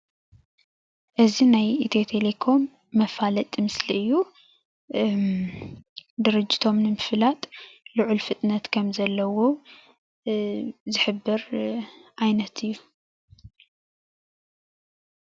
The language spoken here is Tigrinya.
እዚ ናይ ኢትዮ ቴሌኮም መፋለጢ ምስሊ እዩ፡፡ ድርጅቶም ንምፍላጥ ልዑል ፍጥነት ከም ዘለዎ ዝሕብር ዓይነት እዩ፡፡